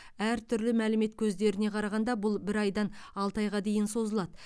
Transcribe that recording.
әртүрлі мәлімет көздеріне қарағанда бұл бір айдан алты айға дейін созылады